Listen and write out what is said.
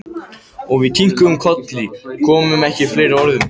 Og við kinkuðum kolli, komum ekki upp fleiri orðum.